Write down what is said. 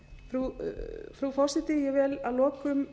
frú forseti ég vil að lokum